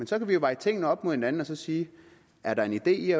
så kan vi jo veje tingene op mod hinanden og sige er der en idé i